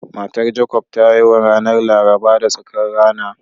Matar Jacobs ta haihu ranar Laraba da tsakar rana